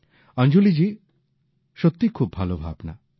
অঞ্জলীজি সত্যি খুব ভাল ভাবনা